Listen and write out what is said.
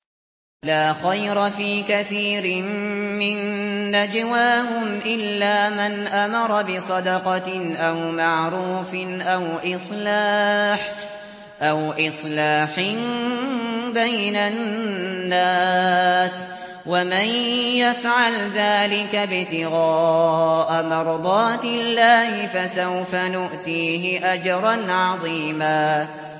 ۞ لَّا خَيْرَ فِي كَثِيرٍ مِّن نَّجْوَاهُمْ إِلَّا مَنْ أَمَرَ بِصَدَقَةٍ أَوْ مَعْرُوفٍ أَوْ إِصْلَاحٍ بَيْنَ النَّاسِ ۚ وَمَن يَفْعَلْ ذَٰلِكَ ابْتِغَاءَ مَرْضَاتِ اللَّهِ فَسَوْفَ نُؤْتِيهِ أَجْرًا عَظِيمًا